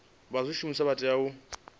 vha zwishumiswa vha tea u